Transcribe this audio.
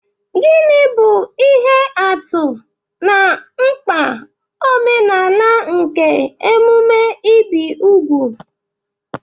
Gịnị bụ ihe atụ na mkpa omenala nke emume ibi úgwù?